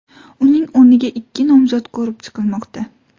Uning o‘rniga ikki nomzod ko‘rib chiqilmoqda.